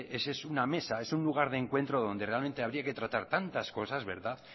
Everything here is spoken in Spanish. ese es una mesa un lugar de encuentro donde realmente habría que tratar tantas cosas verdad